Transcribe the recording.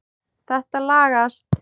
Þetta lagast.